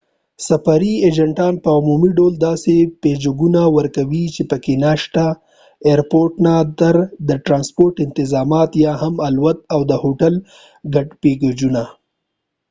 سفري اېجنټان په عمومي ډول داسې پېکجونه ورکوي چې پکې ناشته، ايرپورټ نه/ته د ټرانسپورټ انتظامات یا هم د الوت او د هوټل ګډ پېکجونه